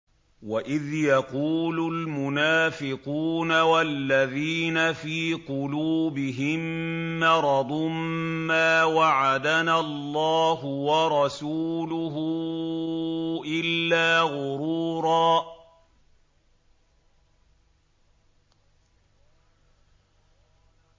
وَإِذْ يَقُولُ الْمُنَافِقُونَ وَالَّذِينَ فِي قُلُوبِهِم مَّرَضٌ مَّا وَعَدَنَا اللَّهُ وَرَسُولُهُ إِلَّا غُرُورًا